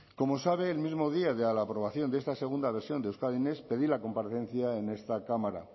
como sabe el mismo día de la aprobación de esta segunda versión de euskadi next pedí la comparecencia en esta cámara